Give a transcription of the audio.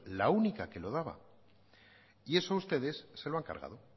la única que lo daba y eso ustedes se lo han cargado